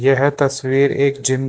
यह तस्वीर एक जिम --